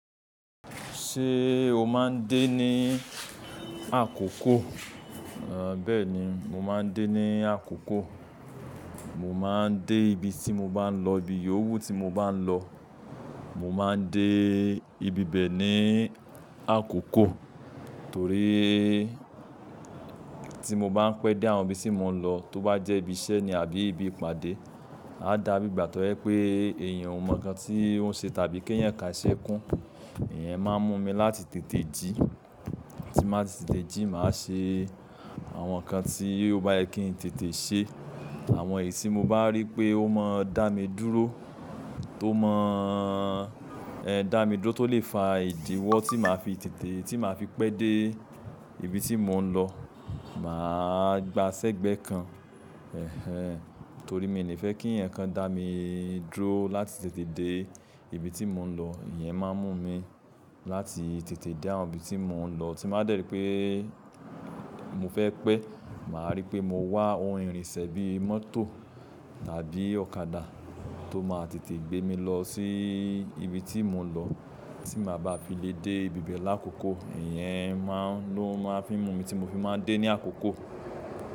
Ṣé o máa ń dé ní àkókò? Bẹ́ẹ̀ni, mo máa ń dé ní àkókò. Mo máa ń dé ibi tí mo bá ń lọ, ibi yowu tí mo bá ń lọ, mo máa ń dé ibi bẹ́ẹ̀ ní àkókò torí tí mo bá ń pẹ́ dé àwọn ibi tí mo ń lọ, tó bá jẹ́ ibi iṣẹ́ ni àbí ibi ìpàdé, á dàbí ìgbà tó jẹ pé èèyàn ò mọ nǹkan tí ó ń ṣe tàbí èèyàn o ka iṣẹ́ kún. Ìyẹn máa ń mú mi láti tètè jí. Tí n bá ti tètè jí, màá ṣe àwọn nǹkan tí o bayẹ kí n tètè ṣe. Àwọn èyí tí mo bá rí pé ó máa ń dá mi dúró, tó máa ń, dá mi dúró, tó lè fa ìdíwọ́ tí màá fi tètè, tí màá fi pẹ́ dé ibi tí mò ń lọ. Màá gba sẹ́gbẹ̀ kan. Ẹ̀hẹn. Torí mi ò ní fẹ́ kí ǹkan dá mi dúró láti tètè dé ibi tí mò ń lọ. Ìyẹn máa ń mú mi láti tètè dé àwọn ibi tí mò ń lọ. Tí n bà dẹ́rì pé mo fẹ́ pẹ́, màá rí pé mo wá ohun ìrìnsẹ̀ bí mọ́tò àbí ọ̀kadà tó máa tètè gbé mi lọ sí ibi tí mò ń lọ, tí màá ba fi lè dé ibi bẹ́ẹ̀ lákókò. Ìyẹn ló máa ń fi mú mi tí mo fi máa ń dé ní àkókò.